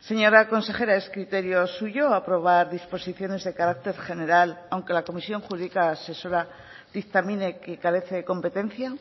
señora consejera es criterio suyo aprobar disposiciones de carácter general aunque la comisión jurídica asesora dictamine que carece de competencia